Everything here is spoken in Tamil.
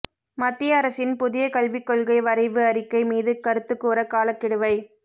மத்திய அரசின் புதிய கல்விக்கொள்கை வரைவு அறிக்கை மீது கருத்துக்கூற காலக்கெடுவை